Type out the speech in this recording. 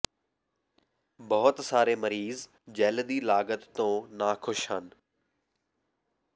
ਬਹੁਤ ਸਾਰੇ ਮਰੀਜ਼ ਜੈੱਲ ਦੀ ਲਾਗਤ ਤੋਂ ਨਾਖੁਸ਼ ਹਨ